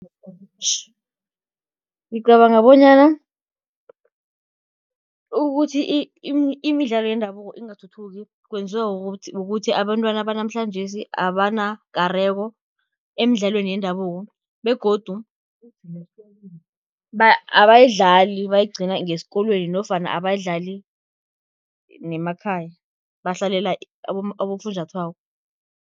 Ngicabanga bonyana ukuthi imidlalo yendabuko ingathuthuki, kwenziwa kukuthi abentwana banamhlanjesi abanakareko emidlalweni yendabuko begodu abayidlali bayigcina ngesikolweni nofana abayidlali nemakhaya, bahlalela abofunjathwako.